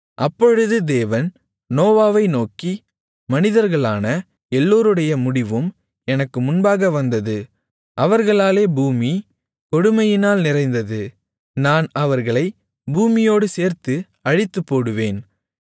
அப்பொழுது தேவன் நோவாவை நோக்கி மனிதர்களான எல்லோருடைய முடிவும் எனக்கு முன்பாக வந்தது அவர்களாலே பூமி கொடுமையினால் நிறைந்தது நான் அவர்களைப் பூமியோடு சேர்த்து அழித்துப்போடுவேன்